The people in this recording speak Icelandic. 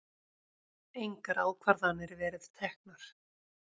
Engar ákvarðanir verið teknar